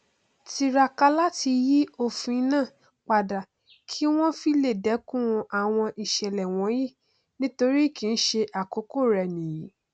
tiraka láti yí òfin náà pádà kí wọn fi lè dẹkun àwọn íṣẹlẹ wọnyí nítorí kìí ṣe àkọkọ rẹ nìyí